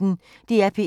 DR P1